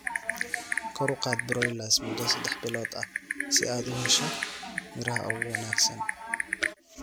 Kor u qaad broilers muddo saddex bilood ah si aad u hesho miraha ugu wanaagsan.